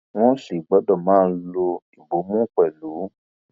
wọn sì gbọdọ máa lo ìbomú pẹlú